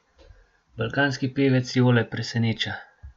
Balkanski pevec Jole preseneča.